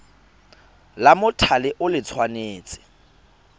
la mothale o le tshwanetse